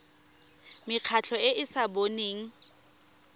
mekgatlho e e sa boneng